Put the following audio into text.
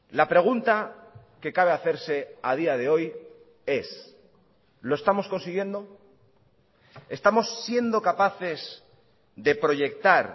la pregunta que cabe hacerse a día de hoy es lo estamos consiguiendo estamos siendo capaces de proyectar